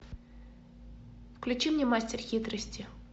включи мне мастер хитрости